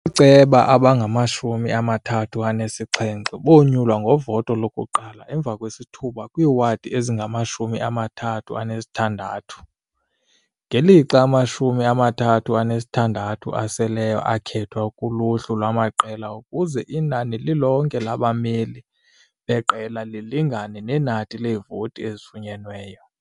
Ooceba abangamashumi amathathu anesixhenxe bonyulwa ngovoto lokuqala emva kwesithuba kwiiwadi ezingamashumi amathathu anesithandathu, ngelixa amashumi amathathu anesithandathu aseleyo akhethwa kuluhlu lwamaqela ukuze inani lilonke labameli beqela lilingane nenani leevoti ezifunyenweyo.